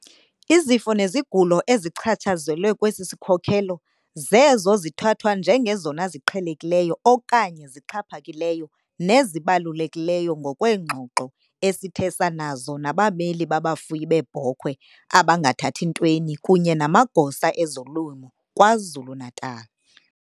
Izifo nezigulo ezichatshazelwe kwesi sikhokelo zezo zithathwa njengezona ziqhelekileyo okanye zixhaphakileyo nezibalulekileyo ngokweengxoxo esithe sanazo nabameli babafuyi beebhokhwe abangathathi ntweni kunye namagosa ezolimo kwaZulu-Natal.